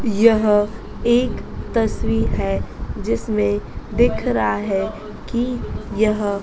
यह एक तस्वीर है जिसमें दिख रहा है कि यह --